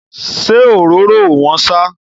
Ṣé òróró ò wọ́n ṣá?